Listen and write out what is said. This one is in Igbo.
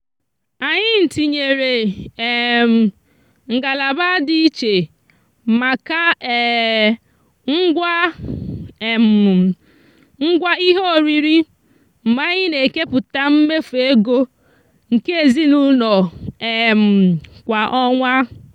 anyị tinyere um ngalaba dị iche maka um ngwa um ngwa ihe oriri mgbe anyị na-eke pụta mmefu ego nke ezinụụlọ um kwa ọnwa.